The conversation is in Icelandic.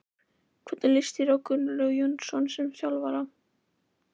Hvernig líst þér á Gunnlaug Jónsson sem þjálfara?